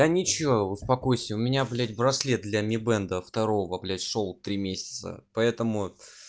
да ничего успокойся у меня блять браслет для ми бенда второго блять шёл три месяца поэтому